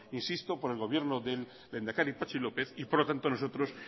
insisto por el gobierno del lehendakari patxi lópez y por lo tanto nosotros